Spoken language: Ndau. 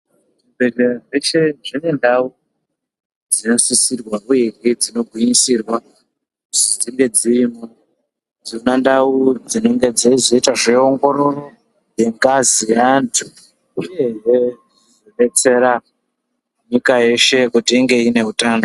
Zvi bhedhlera zvese zvine ndau dzino sisirwa uyehe dzino gwinyisirwa kuzi dzinge dzirimo dzona ndau dzinenge dzeizoita zve ongororo ye ngazi ye antu uyehe yeizo detsera nyika yeshe kuti inge iine utano.